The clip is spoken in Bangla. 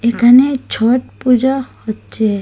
এখানে ছট পূজা হচ্চে।